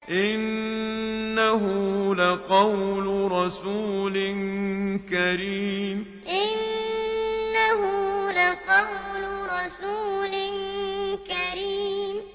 إِنَّهُ لَقَوْلُ رَسُولٍ كَرِيمٍ إِنَّهُ لَقَوْلُ رَسُولٍ كَرِيمٍ